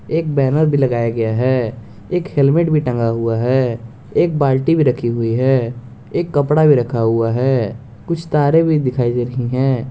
एक बैनर भी लगाया गया है एक हेलमेट भी टंगा हुआ है एक बाल्टी भी रखी हुई है एक कपड़ा भी रखा हुआ है कुछ तारें भी दिखाई दे रही हैं।